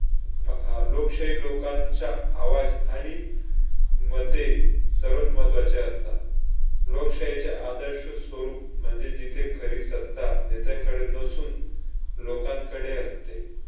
अह आह लोकशाही लोकांच्या आवाज आणि मते सर्वात महत्त्वाचे असतात. लोकशाहीचे आदर्श स्वरूप म्हणजे जिथे खरी सत्ता नेत्यांकडे नसून लोकांकडे असते.